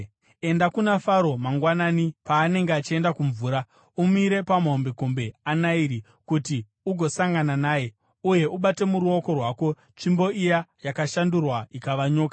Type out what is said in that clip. Enda kuna Faro mangwanani paanenge achienda kumvura. Umire pamahombekombe aNairi kuti ugosangana naye, uye ubate muruoko rwako tsvimbo iya yakashandurwa ikava nyoka.